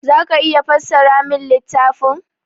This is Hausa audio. Za ka iya fassara min littafin?